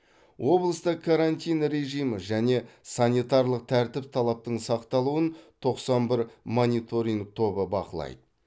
облыста карантин режимі және санитарлық тәртіп талаптың сақталуын тоқсан бір мониторинг тобы бақылайды